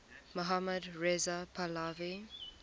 mohammad reza pahlavi